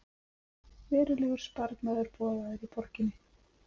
Verulegur sparnaður boðaður í borginni